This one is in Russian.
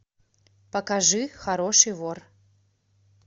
покажи хороший вор